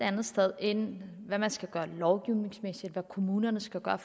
andet sted end med hvad man skal gøre lovgivningsmæssigt hvad kommunerne skal gøre